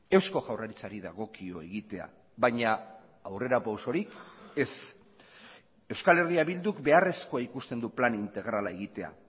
eusko jaurlaritzari dagokio egitea baina aurrera pausorik ez euskal herria bilduk beharrezkoa ikusten du plan integrala egitea